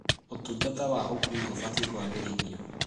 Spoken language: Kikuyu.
ũtungata wa ũkuui ũbatiĩ kũagĩrithio.